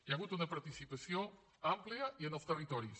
hi ha hagut una participació àmplia i en els territoris